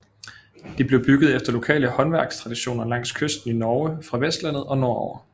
De blev bygget efter lokale håndværkstraditioner langs kysten i Norge fra Vestlandet og nord over